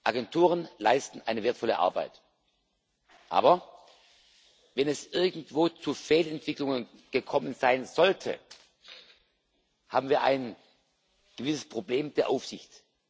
Agenturen leisten eine wertvolle Arbeit, aber wenn es irgendwo zu Fehlentwicklungen gekommen sein sollte, haben wir ein gewisses Problem der Aufsicht.